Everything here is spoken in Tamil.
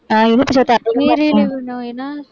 நீரிழிவு நோய்னா